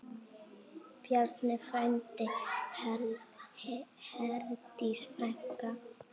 Bjarni frændi, Herdís frænka.